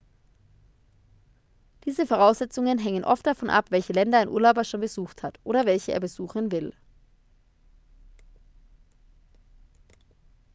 diese voraussetzungen hängen oft davon ab welche länder ein urlauber schon besucht hat oder welche er besuchen will